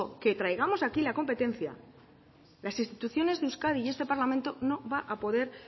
que traigamos aquí la competencia las instituciones de euskadi y este parlamento no van a poder